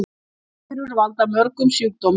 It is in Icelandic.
Veirur valda mörgum sjúkdómum.